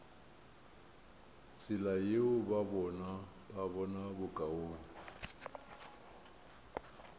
tsela yeo ba bona bokaone